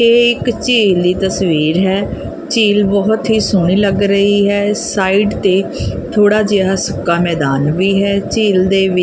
ਇਹ ਇੱਕ ਝੀਲ ਦੀ ਤਸਵੀਰ ਹੈ ਝੀਲ ਬਹੁਤ ਹੀ ਸੋਹਣੀ ਲੱਗ ਰਹੀ ਹੈ ਸਾਈਡ ਤੇ ਥੋੜ੍ਹਾ ਜੇਹਾ ਸੁੱਕਾ ਮੈਦਾਨ ਵੀ ਹੈ ਝੀਲ ਦੇ ਵਿ--